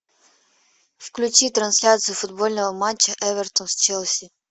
включи трансляцию футбольного матча эвертон с челси